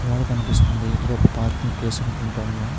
గోడ కనిపిస్తుంది. ఇది ఒక పార్కింగ్ ప్లేస్ అనుకుంటున్నాను.